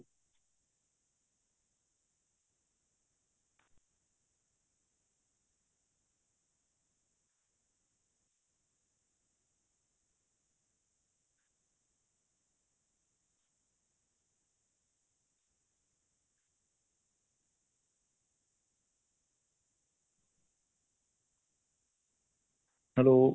hello